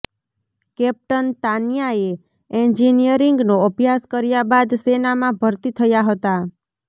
captain તાન્યાએ એન્જિનિયરિંગનો અભ્યાસ કર્યા બાદ સેનામાં ભર્તી થયા હતા